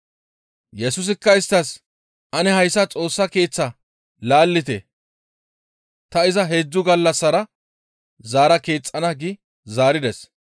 Yesusikka isttas, «Ane hayssa Xoossa Keeththaa laallite; ta iza heedzdzu gallassara zaara keexxana» gi zaarides.